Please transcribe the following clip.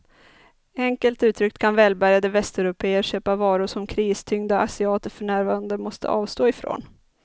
Enkelt uttryckt kan välbärgade västeuropéer köpa varor som kristyngda asiater för närvarande måste avstå ifrån.